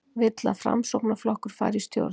Vill að Framsóknarflokkur fari í stjórn